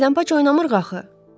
Gizləmpaça oynamırıq axı.